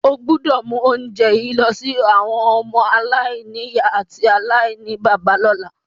O gbọ́dọ̀ mu ounje yi lọ si àwọn ọmọ-aláìnìyá àti aláìníbàbá lọ́la.